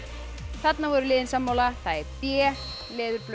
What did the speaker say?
þarna voru liðin sammála það er b